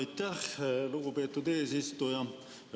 Aitäh, lugupeetud eesistuja!